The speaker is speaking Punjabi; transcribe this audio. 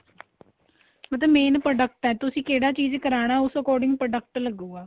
ਮਤਲਬ main product ਏ ਤੁਸੀਂ ਕਿਹੜਾ ਚੀਜ ਕਰਾਣਾ ਉਸ ਦੇ according product ਲੱਗੂਗਾ